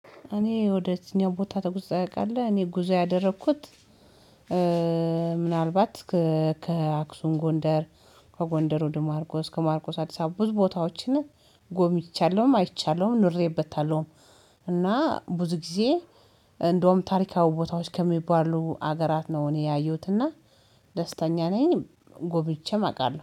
እኔ ወደ እዚኝ ቦታ ተጉዘህ ታቃለህ? እኔ ጉዞ ያደረኩት ምናልባት ከአክሱን ጎንደር ከጎንደር ወደ ማርቆስ ከማርቆስ አዲስ አበባ ብዙ ቦታዎችን ጎብኚቻለሁም አይቻለሁም ኑሬበታለሁም። እና ብዙ ጊዜ እንደውም ታሪካዊ ቦታዎች ከሚባሉ ሀገራት ነው። እኔ ያየሁትና ደስተኛ ነኝ። ጎብኝቼም አውቃለሁ